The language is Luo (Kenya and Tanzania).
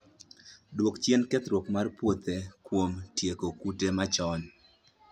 Dwok chien kethruok mar puothe kuom tieko kute chon